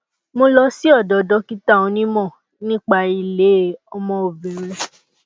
mo lọ sí ọdọ dókítà onímọ nípa ilé ọmọ obìnrin